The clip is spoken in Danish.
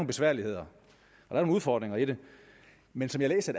besværligheder og nogle udfordringer i det men som jeg læser